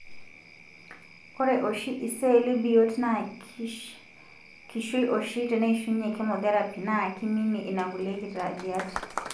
ore oshi iseli biot na kishui oshi teneishunye chemotherapy, na kiminie ina kulie kitadiat,